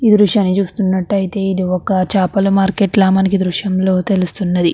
ఈ దృశ్యాన్ని చూస్తునట్టయితే ఇది ఒక చేపల మార్కెట్ లా మనకి ఈ దృశ్యం లో తెలుస్తున్నది.